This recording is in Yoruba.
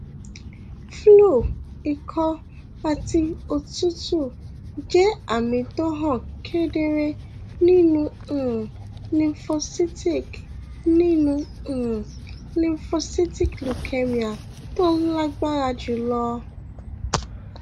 flu ikọ àti òtútù jẹ àmì tó hàn kedere nínú um lymphocytic nínú um lymphocytic leukemia tó lágbára jùlọ